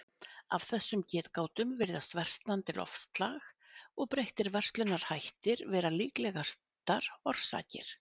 Af þessum getgátum virðast versnandi loftslag og breyttir verslunarhættir vera líklegastar orsakir.